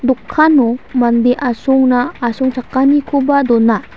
dokano mande asongna asongchakanikoba dona.